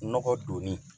Nɔgɔ donni